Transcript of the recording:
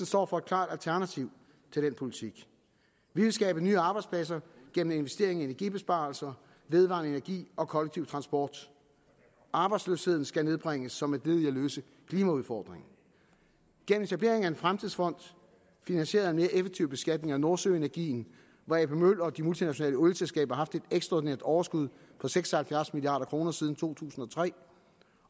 står for et klart alternativ til denne politik vi vil skabe nye arbejdspladser gennem investering i energibesparelser vedvarende energi og kollektiv transport arbejdsløsheden skal nedbringes som et led i at løse klimaudfordringen gennem etableringen af en fremtidsfond finansieret af en mere effektiv beskatning af nordsøenergien hvor a p møller og de multinationale olieselskaber har et ekstraordinært overskud på seks og halvfjerds milliard kroner siden to tusind og tre